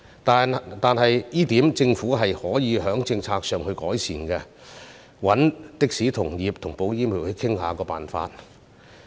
但就這一點來說，政府可以在政策上作出改善，並應與的士同業和保險業界商討方法。